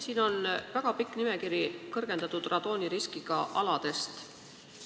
Siin on väga pikk nimekiri kõrgendatud radooniriskiga aladest.